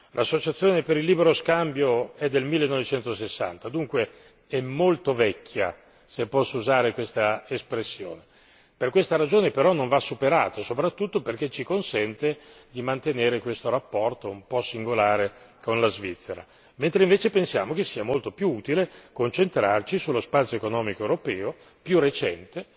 L'associazione per il libero scambio è del 1960 dunque, è molto vecchia se posso usare quest'espressione per questa ragione, però, non va superata, soprattutto perché ci consente di mantenere questo rapporto un po' singolare con la Svizzera, mentre invece pensiamo che sia molto più utile concentrarci sullo spazio economico europeo, più recente,